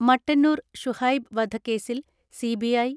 മട്ടന്നൂർ ഷുഹൈബ് വധ കേസിൽ സിബിഐ